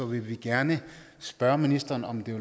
vil vi gerne spørge ministeren om det